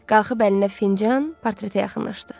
Qalxıb əlində fincan, portretə yaxınlaşdı.